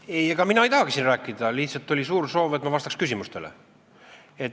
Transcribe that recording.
Ei, ega mina ei tahagi siin rääkida, lihtsalt siin oli suur soov, et ma vastaks küsimustele.